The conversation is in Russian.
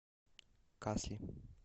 касли